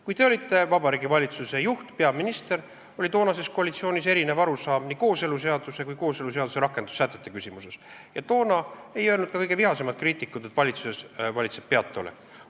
Kui te olite Vabariigi Valitsuse juht, peaminister, oli toonases koalitsioonis erinevaid arusaamu nii kooseluseaduse kui ka kooseluseaduse rakendussätete küsimuses ja toona ei öelnud ka kõige vihasemad kriitikud, et valitsuses valitseb peataolek.